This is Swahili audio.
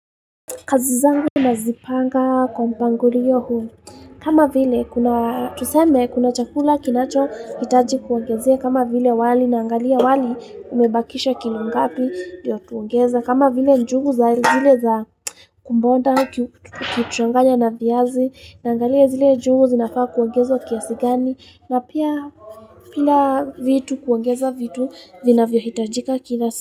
Kazi zangu nazipanga kwa mpangu riyo huli. Kama vile kuna tuseme kuna chakula kinacho hitaji kuangezia. Kama vile wali na angalia wali umebakisha kilu ngapi diyo tuangeza. Kama vile njugu za zile za kumbonda kituanganya na viazi. Na angalia zile njugu zinafaa kuangeza wa kiasigani. Na pia fila vitu kuangeza vitu vina vio hitajika kitha.